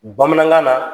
Bamanankan na